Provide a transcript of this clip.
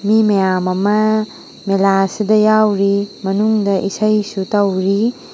ꯃꯤ ꯃꯌꯥꯝ ꯑꯃ ꯃꯦꯂꯥ ꯑꯁꯤꯗ ꯌꯥꯎꯔꯤ ꯃꯅꯨꯡꯗ ꯏꯁꯩꯁꯨ ꯇꯧꯔꯤ꯫